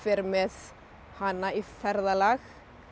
með hana í ferðalag